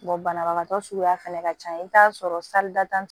banabagatɔ suguya fɛnɛ ka ca i bi t'a sɔrɔ